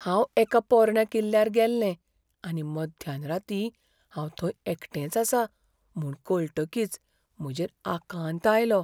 हांव एका पोरण्या किल्ल्यार गेल्लें आनी मध्यान रातीं हांव थंय एकटेंच आसां म्हूण कळटकीच म्हजेर आकांत आयलो.